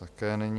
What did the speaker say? Také není.